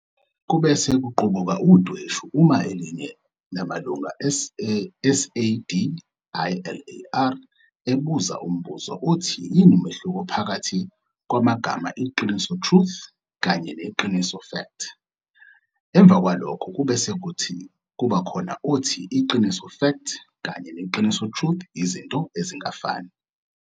Kubese kuqubuka udweshu uma elinye lamalunga e SADiLaR ebuza umbuzo othi yini umehluko phakathi kwagama iqiniso, Truth, kanye neqiniso, Fact. Emvakwa lokho kubese kuba khona othi iqiniso. Fact, kanye neqiniso, truth, yizinto ezingafani.